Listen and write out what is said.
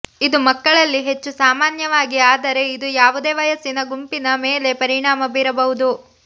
ಇದು ಮಕ್ಕಳಲ್ಲಿ ಹೆಚ್ಚು ಸಾಮಾನ್ಯವಾಗಿದೆ ಆದರೆ ಇದು ಯಾವುದೇ ವಯಸ್ಸಿನ ಗುಂಪಿನ ಮೇಲೆ ಪರಿಣಾಮ ಬೀರಬಹುದು